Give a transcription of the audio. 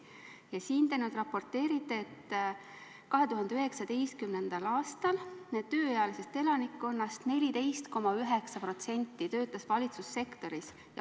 Ja siin te nüüd raporteerite, et 2019. aastal töötas 14,9% tööealisest elanikkonnast valitsussektoris.